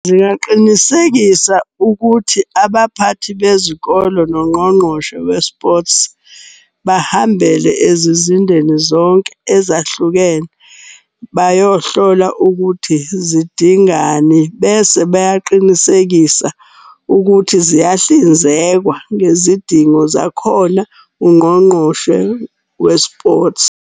Zingaqinisekisa ukuthi abaphathi bezikolo nongqongqoshe we-sports, bahambele ezizindeni zonke ezahlukene. Bayohlola ukuthi zidingani bese beyaqinisekisa ukuthi ziyahlinzekwa ngezidingo zakhona ungqongqoshe we-sports.